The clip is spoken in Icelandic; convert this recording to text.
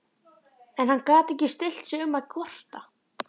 En hann gat ekki stillt sig um að gorta.